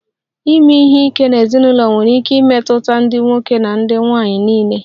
Ime ihe ike n'ezinụlọ nwere ike imetụta ndị nwoke na nwanyị niile